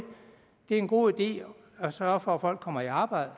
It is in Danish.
er en god idé at sørge for at folk kommer i arbejde